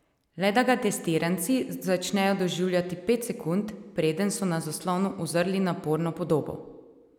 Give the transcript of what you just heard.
Le da ga testiranci začnejo doživljati pet sekund, preden so na zaslonu uzrli naporno podobo!